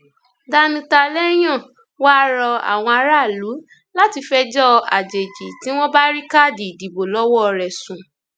danutalẹyàn wàá rọ àwọn aráàlú láti fẹjọ àjèjì tí wọn bá rí káàdì ìdìbò lọwọ rẹ sùn